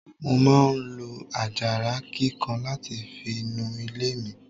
Mo máa ń lo àjàrà kíkan láti fi nu ilé mi.